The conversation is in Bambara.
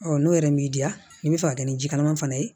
Ɔ n'o yɛrɛ m'i diya n bɛ fɛ ka kɛ ni jikalaman fana ye